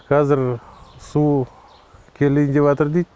казір су келейін деватыр дейді